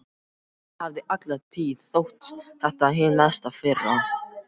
Henni hafði alla tíð þótt þetta hin mesta firra.